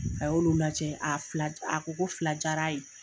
A y'olu lajɛ a fila a ko ko fila jaar'a ye.